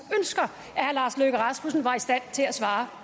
herre lars løkke rasmussen var i stand til at svare